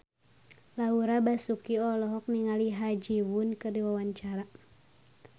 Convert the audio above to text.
Laura Basuki olohok ningali Ha Ji Won keur diwawancara